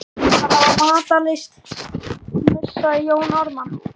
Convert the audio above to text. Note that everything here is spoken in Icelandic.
Að hafa matarlyst, hnussaði Jón Ármann.